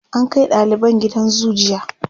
an Kai daliban gidan zoo jiya